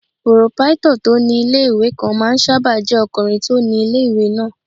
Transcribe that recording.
Pòròpáítọ̀ tó ní ilé-ìwé kan máà ń sáábà jẹ́ ọkùnrin tó ni ilé-ìwé náà